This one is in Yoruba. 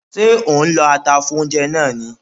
Ṣé ò ń lọ ata fún oúnjẹ náà ni?